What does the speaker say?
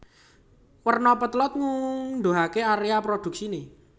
Werna potlot nguduhake area produksine